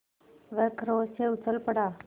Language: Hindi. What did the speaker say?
वह क्रोध से उछल पड़ा